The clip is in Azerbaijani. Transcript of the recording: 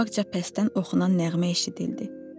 Qabaqca pəstdən oxunan nəğmə eşidildi.